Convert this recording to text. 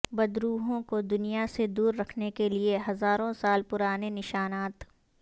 بدروحوں کو دنیا سے دور رکھنے کیلئے ہزاروں سال پرانے نشانات